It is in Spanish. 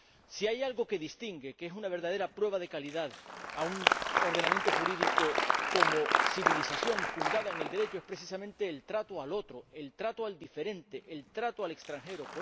Si hay algo que distingue, que es una verdadera prueba de calidad, a un ordenamiento jurídico como civilización fundada en el Derecho es precisamente el trato al otro, el trato al diferente, el trato al extranjero.